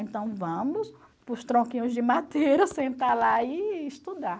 Então vamos para os tronquinhos de madeira sentar lá e estudar.